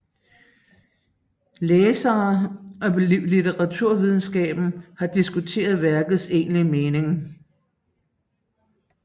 Læsere og litteraturvidenskaben har diskuteret værkets egentlige mening